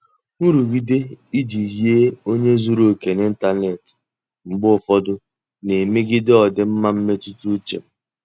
Nrụgide iji yie onye zuru oke n'ịntanetị mgbe ụfọdụ na-emegide ọdịmma mmetụta uche m.